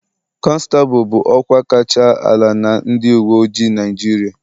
Konstabulu bụ ọkwa kacha ala na ndị uwe ojii Naịjirịa.